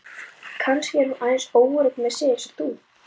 Kannski er hún aðeins óörugg með sig eins og þú.